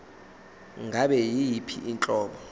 ngabe yiyiphi inhlobo